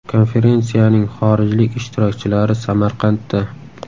Konferensiyaning xorijlik ishtirokchilari Samarqandda.